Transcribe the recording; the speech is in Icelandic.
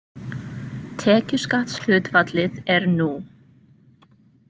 Tekjuskattshlutfallið er nú.